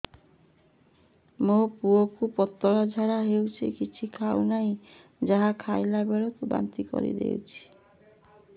ମୋ ପୁଅ କୁ ପତଳା ଝାଡ଼ା ହେଉଛି କିଛି ଖାଉ ନାହିଁ ଯାହା ଖାଇଲାବେଳକୁ ବାନ୍ତି କରି ଦେଉଛି